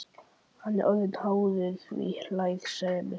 Hann er orðinn háður því, hlær Sæmi.